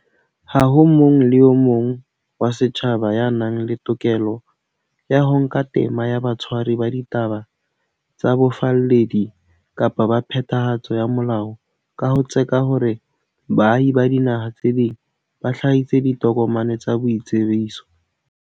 Ha ho motho le a mong wa setjhaba ya nang le tokelo ya ho nka tema ya batshwari ba ditaba tsa bofalledi kapa ba phethahatso ya molao ka ho tseka hore baahi ba dinaha tse ding ba hlahise ditokomane tsa boitsebiso.